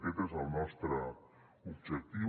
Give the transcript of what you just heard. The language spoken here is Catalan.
aquest és el nostre objectiu